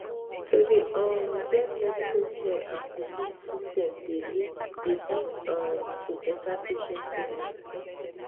to dey um join medical care and belief system dey lead dey lead um to better patient healness